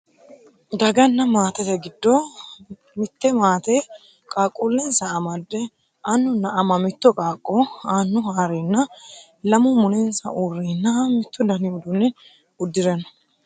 daganna maatete giddo mitte maate qaaqquullensa amadde annunna ama mitto qaaqqo annu haareenna lamu mulensa uurreenna mittu dani uduunne uddire no